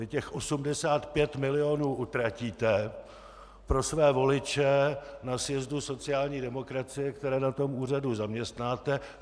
Vy těch 85 milionů utratíte pro své voliče na sjezdu sociální demokracie, které na tom úřadu zaměstnáte.